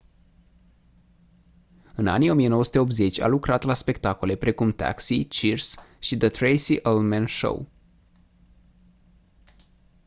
în anii 1980 a lucrat la spectacole precum taxi cheers și the tracey ullman show